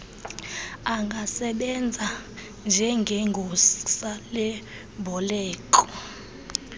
angasebenza njngegosa lemboleko